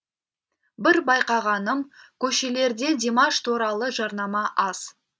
бір байқағаным көшелерде димаш туралы жарнама аз